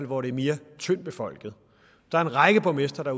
hvor det er mere tyndt befolket der er en række borgmestre der